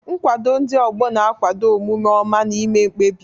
Nkwado ndị ọgbọ na-akwado omume ọma na ime mkpebi.